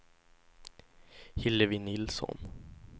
Hillevi Nilsson